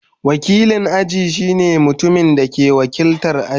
Wakilin aji shine mutumin da ke wakiltar aji.